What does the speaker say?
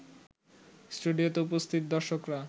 স্টুডিওতে উপস্থিত দর্শকরা